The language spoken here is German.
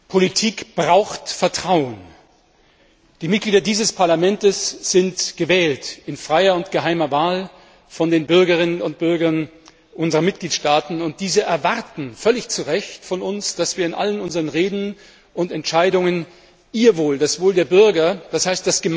Politik braucht Vertrauen. Die Mitglieder dieses Parlaments sind in freier und geheimer Wahl von den Bürgerinnen und Bürgern unserer Mitgliedstaaten gewählt, und diese erwarten völlig zurecht von uns, dass wir in allen unseren Reden und Entscheidungen ihr Wohl das Wohl der Bürger, d. h.